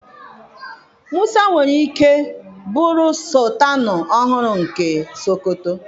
Musa nwere ike bụrụ sọltanụ ọhụrụ nke Sokoto.